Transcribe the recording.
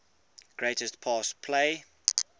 greatest pass play